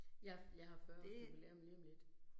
Jeg jeg har 40 års jubilæum lige om lidt